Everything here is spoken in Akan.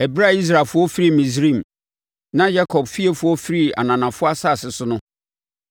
Ɛberɛ a Israelfoɔ firii Misraim, na Yakob fiefoɔ firii ananafoɔ asase so no,